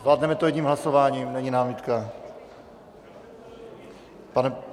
Zvládneme to jedním hlasováním, není námitka?